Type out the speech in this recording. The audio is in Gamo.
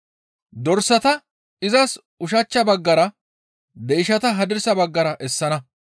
Dorsata ba ushachcha baggara, deyshata hadirsa baggara essana.